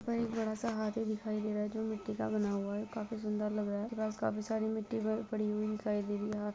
मिट्टी का बना हुआ है काफी सुंदर लग रहा है।